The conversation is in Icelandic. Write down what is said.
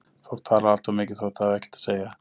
Fólk talar allt of mikið þótt það hafi ekkert að segja.